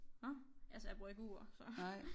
Nåh altså jeg bruger ikke ur så